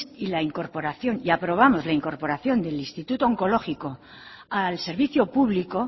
y aprobamos la incorporación del instituto onkologiko al servicio público